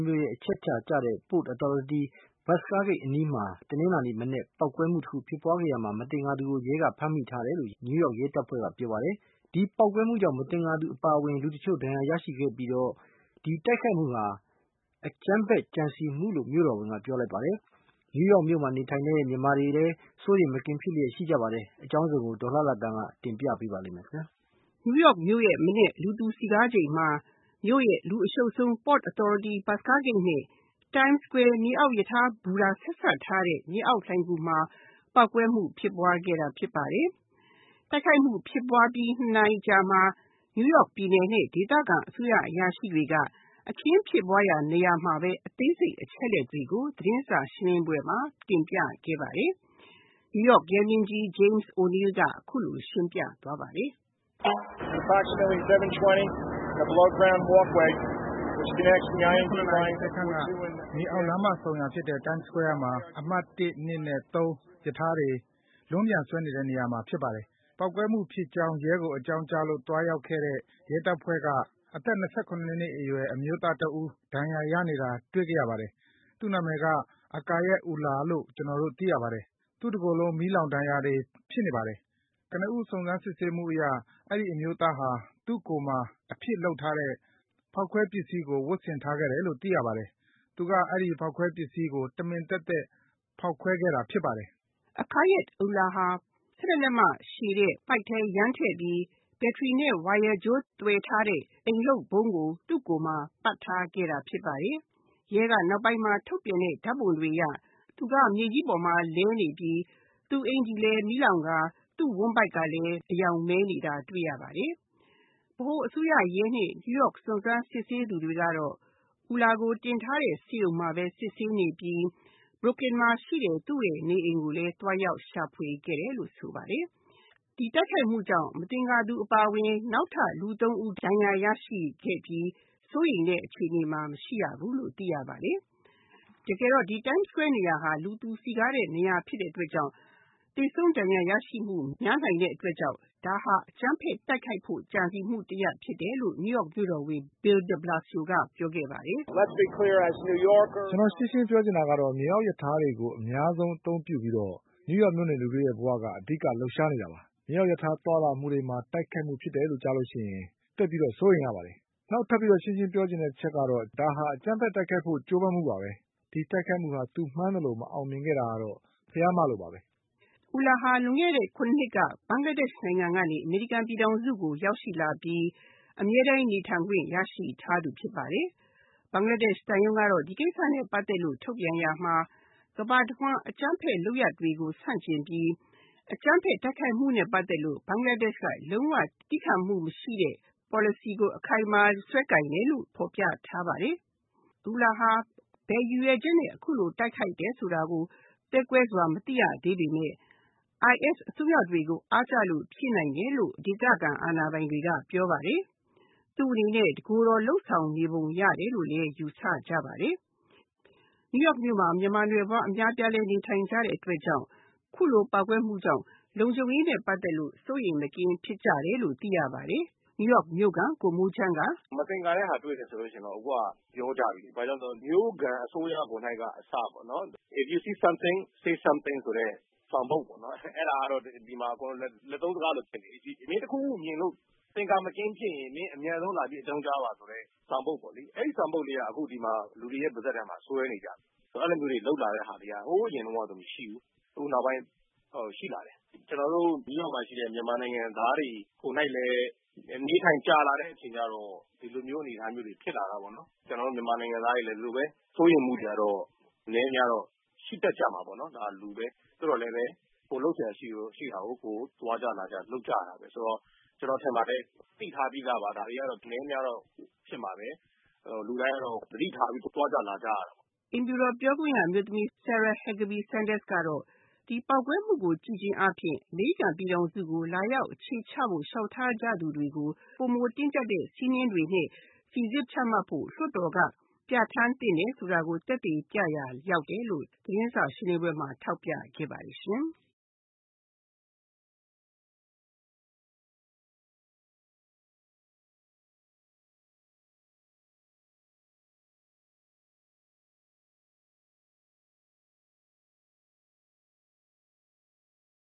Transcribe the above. မြို့အချက်အချာကျတဲ့ Port Authority ဘက်စကားဂိတ်မှာ တနင်္လာနေ့က ပေါက်ကွဲမှုတခုဖြစ်ပွားခဲ့ရမှာ မသင်္ကာသူကို ရဲက ဖမ်းမိထားတယ်လို့ New York မြို့ရဲတပ်ဖွဲ့ကပြောပါတယ်။ ဒီပေါက်ကွဲမှုကြောင့် မသင်္ကာသူအပါအဝင် လူတချို့ဒဏ်ရာရရှိခဲ့ပြီးတော့ ဒီတိုက်ခိုက်မှုဟာ အကြမ်းဖက်ကြံစည်မှုလို့ မြို့တော်ဝင်က ပြောလိုက်ပါတယ်။ New York မြို့မှာနေထိုင်တဲ့ မြန်မာတွေထဲမှာလည်း စိုးရိမ်မကင်းရှိကြပါတယ်။ အကြောင်းစုံကို ဒေါ်လှလှသန်းက တင်ပြပေးမှာပါ။ New York မြို့မနက် လူသူ စည်ကားချိန်မှာ မြို့ရဲ့ လူအရှုပ်ဆုံး Port Authority ဘက်စကားဂိတ်နဲ့ Time Square မြေအောက်ရထားဘူတာဆက်ထားတဲ့ မြေအောက်လှိုင်ဂူမှာ ပေါက်ကွဲမှုဖြစ်ပွားခဲ့တာဖြစ်ပါတယ်။ တိုက်ခိုက်မှုဖြစ်ပွားအပြီး ၂ နာရီအကြာမှာ New Yorkပြည်နယ်နဲ့ ဒေသခံအစိုးရအရာရှိတွေက အခင်းဖြစ်ပွားရာနေရာမှာပဲ အသေးစိတ်အချက်အလက်တွေကို သတင်းစာရှင်းလင်းပွဲမှာ တင်ပြခဲ့ပါတယ်။ နယူးယောက်ရဲမင်းကြီး James O’Neill က အခုလိုရှင်းပြသွားပါတယ်။ “မနက် ၇ နာရီ ၂၀ ခန့်က မြေအောက်လမ်းမဆုံရာဖြစ်တဲ့ Time Square က အမှတ် ၁၊ ၂၊ ၃ ရထားတွေ လွန်းပြန်ဆွဲနေတဲ့နေရာမှာ ဖြစ်ပါတယ်။ ပေါက်ကွဲမှုဖြစ်ကြောင်း ရဲကိုအကြောင်းကြားလို့ သွားရောက်ခဲ့တဲ့ ရဲတပ်ဖွဲ့က အသက် ၂၇ နှစ်အရွယ်အမျိုးသားတဦး ဒဏ်ရာရနေတာ တွေ့ခဲ့ရပါတယ်။ သူ့နာမည်ကAkayed Ullahလို့ ကျနော်တို့ သိရပါတယ်။ သူ့တကိုယ်လုံး မီးလောင်ဒဏ်ရာတွေ ဖြစ်နေပါတယ်။ ကနဦး စုံစမ်းစစ်ဆေးမှုအရ အဲဒီအမျိုးသားဟာ သူ့ကိုယ်မှာ အဖြစ်လုပ်ထားတဲ့ ဖောက်ခွဲပစ္စည်းကို ဝတ်ဆင်ထားတယ်လို့ သိခဲ့ရပါတယ်။ သူက အဲဒီဖောက်ခွဲပစ္စည်းကို တမင်သက်သက် ဖောက်ခွဲခဲ့တာဖြစ်ပါတယ်။” Akayed Ullah ဟာ ၁၁ လက်မရှည်တဲ့ ပိုက်ထဲယမ်းထည့်ပြီး ဘက်ထရီနဲ့ ဝါယာကြိုးသွယ်ထားတဲ့ အိမ်လုပ်ဗုံးကို သူ့ ကိုယ်မှာ ပတ်ထားခဲ့တာဖြစ်ပါတယ်။ ရဲက နောက်ပိုင်းမှာ ထုတ်ပြန်တဲ့ ဓါတ်ပုံတွေအရ သူကမြေကြီးပေါ်မှာ လဲနေပြီး သူ့အကျီ ၤလည်း မီးလောင်ကာ သူ့ဝမ်းဗိုက်ကလည်း အရောင်မဲနေတာ တွေ့ရပါတယ်။ ဗဟိုအစိုးရရဲနဲ့ New York စုံစမ်းစစ်ဆေးနေသူတွေကတော့ Ullah ကိုတင်ထားတဲ့ ဆေးရုံမှာပဲ စစ်ဆေးနေပြီး Brooklyn မှာရှိတဲ့ သူ့နေအိမ်ကိုလည်း သွားရောက်ရှာဖွေခဲ့တယ်လို့ ပြောပါတယ်။ ဒီတိုက်ခိုက်မှုကြောင့် မသင်္ကာသူအပါအဝင် နောက်ထပ်လူ ၃ ဦး ဒဏ်ရာရရှိခဲ့ပြီး စိုးရိမ်တဲ့အခြေအနေမှာ မရှိဘူးလို့ သိရပါတယ်။ တကယ်တော့ ဒီ Time Square နေရာက လူသူစည်ကားတဲ့နေရာ ဖြစ်တဲ့အတွက်ကြောင့် သေဆုံးဒဏ်ရာရရှိမှု များနိုင်တဲ့အတွက်ကြောင့် ဒါဟာ အကြမ်းဖက်တိုက်ခိုက်မှုဖြစ်ဖို့အတွက် ကြံစည်မှုတရပ်ဖြစ်တယ်လို့ နယူးယောက် မြို့တော်ဝန် Bill de Blasioက ပြောပါတယ်။ “ကျနော်ရှင်းရှင်းပြောချင်တာကတော့ မြေအောက်ရထားတွေကို အများဆုံးအသုံးပြုပြီးတော့ New York မြို့နေလူတွေဘဝက အဓိက လှုပ်ရှားနေတာပါ။ မြေအောက်ရထား သွားလာမှုတွေကိုတိုက်ခိုက်ဖို့ ဖြစ်တယ်ဆိုရင် သိပ်ပြီးတော့ စိုးရိမ်ရပါတယ်။ နောက်ထပ်ပြီးတော့ ရှင်းရှင်းပြောချင်တာအချက်ကတော့ ဒါဟာ အကြမ်းဖက်တိုက်ခိုက်ဖို့ကြိုးပမ်းမှုပါပဲ။ ဒီတိုက်ခိုက်မှုဟာ သူမှန်းသလို မအောင်မြင်တာကတော့ ဘုရား မလို့ပါပဲ။” Ullah ဟာ လွန်ခဲ့တဲ့ ၇ နှစ်က ဘင်္ဂလားဒေ့ရှ်နိုင်ငံကနေ ရောက်ရှိလာပြီး အမြဲတမ်းနေထိုင်ခွင့်ရရှိထားသူ ဖြစ်ပါတယ်။ ဘင်္ဂလားဒေ့ရှ်သံရုံးကတော့ ဒီကိစ္စနဲ့ ပတ်သက်ပြီး ထုတ်ပြန်ရာမှာ ကမ္ဘာတဝှမ်းအကြမ်းဖက်လုပ်ရက်တွေကို ဆန့်ကျင်ပြီး အကြမ်းဖက်တိုက်ခိုက်မှုနဲ့ ပတ်သက်လို့ ဘင်္ဂလားဒေ့ရှ်က လုံး၀ သီးခံမှုမရှိတဲ့ Policy ကို အခိုင်အမာစွဲကိုင်တယ်လို့ ဖော်ပြထားပါတယ်။ Ullah ဟာ ဘယ်ရည်ရွယ်ချက်နဲ့အခုလို တိုက်ခိုက်တယ်ဆိုတာကို သဲကွဲစွာ မသိရသေးပေမယ့် IS အစွန်းရောက်တွေကို အားကျလို့ဖြစ်နိုင်တယ်လို့ ဒေသခံ အာဏာပိုင်တွေက ပြောပါတယ်။ သူ့အနေနဲ့ တကိုယ်တော်လုပ်ဆောင်နေတယ်လို့လဲ ယူဆကြပါတယ်။ New York မြို့မှာ မြန်မာနွယ်ဖွားအများလည်း နေထိုင်ကြတဲ့အတွက် အခုလိုပေါက်ကွဲမှုကြောင့် လုံခြုံရေးနဲ့ ပတ်သက်လို့ စိုးရိမ်မကင်းဖြစ်ကြတယ်လို့ သိရပါတယ်။ New York မြို့က ကိုမိုးချမ်းက “မသင်္ကာတဲ့ဟာတွေ့တယ်ဆိုတော့ အခုကပြောကြပြီလေ ။ မြို့ခံအစိုးရကိုယ်က အစပေ့ါနော် ။ “If you see something, Say something” ဆိုတဲ့ ဆောင်ပုဒ်ပေါ့နော် အဲဒါကတော့ ဒီမှာ လက်သုံးစကားလိုဖြစ်နေပြီ။ မင်းတခုခုမြင်လို့ မသင်္ကာတာဖြစ်ရင် မင်း အမြန်ဆုံးလာပြီးအကြောင်းကြားပါဆိုတဲ့ ဆောင်ပုဒ်ပေါ့လေ အဲဒီဆောင်ပုဒ်က အခုဒီမှာ လူတွေပါးစပ်ထဲမှာ စွဲနေကြပြီ။ ဆိုတော့ အဲလိုမျိုးတွေ လုပ်လာတာတွေက ဟိုအရင်တုန်းကဆိုရင် မရှိဘူး။ အခုနောက်ပိုင်းရှိလာတယ်။ ကျနော်တို့ New York မြို့မှာရှိတဲ့ မြန်မာနိုင်ငံသားတွေကိုယ်တိုင်လည်း အနေအထိုင်ကြာလာတဲ့အချိန်ကျတော့ ဒီလိုမျိုးအနေအထားမျိုးတွေ ဖြစ်လာတာပေါ့နော်။ ကျနော်တို့ မြန်မာနိုင်ငံသားတွေလည်း ဒီလိုပဲ စိုးရိမ်မှုတွေကတော့ အနည်းအများတော့ရှိတာပေါ့နော် ဒါကလူပဲ ။ သို့သော်လည်း ကိုယ်လုပ်စရာရှိတာကို သွားကြလာကြ လုပ်ကြတာပဲဆိုတော့ ကျနော်ထင်ပါတယ် သိထားပြီးသားပါ ဒါတွေကတော့ အနည်းအများတော့ ဖြစ်မှာပဲ လူတိုင်းကတော့ သတိထားပြီးတော့ သွားကြလာကြရတာပါပဲ။” အိမ်ဖြူတော်ပြောခွင့်ရအမျိုးသမီး Sarah Huckabee Sanders ကတော့ ဒီပေါက်ကွဲမှုကို ကြည့်ချင်းအားဖြင့် အမေရိကန်ပြည်ထောင်စုကို လာရောက်အခြေချဖို့ လျောက်ထား သူတွေကို ပိုမိုတင်းကျပ်တဲ့ စဉ်းမျဉ်းတွေနဲ့ စိစစ်ချမှတ်ဖို့ လွတ်တော်က ပြဌာန်း သင့်တယ်ဆိုတာကို သက်သေပြရာရောက်တယ်လို့ သတင်းစာရှင်းလင်းပွဲမှာ ထောက်ပြခဲ့ပါတယ်။